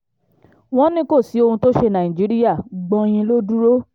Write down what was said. wọ́n ní kò sí ohun tó ṣe nàìjíríà gbọn-in ló dúró